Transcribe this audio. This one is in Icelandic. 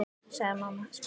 sagði mamma sposk.